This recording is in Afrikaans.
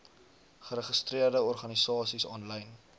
geregistreerde organisasies aanlyn